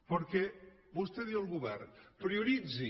perquè vostè diu al govern prioritzi